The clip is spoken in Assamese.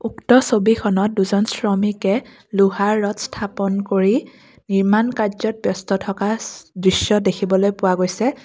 উক্ত ছবিখনত দুজন শ্ৰমিকে লোহাৰ ৰড স্থাপন কৰি নিৰ্মাণ কাৰ্য্যত ব্যস্ত থকা ছ দৃশ্য দেখিবলৈ পোৱা গৈছে।